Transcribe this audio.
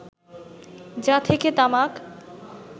যা থেকে তামাক